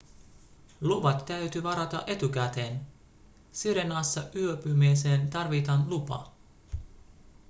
luvat täytyy varata etukäteen sirenassa yöpymiseen tarvitaan lupa